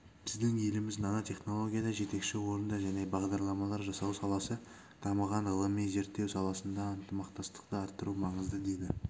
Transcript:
біздің еліміз нанотехнологияда жетекші орында және бағдарламалар жасау саласы дамыған ғылыми-зерттеу саласында ынтымақтастықты арттыру маңызды деді